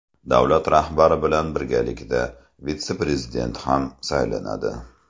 Davlat rahbari bilan birgalikda vitse-prezident ham saylanadi.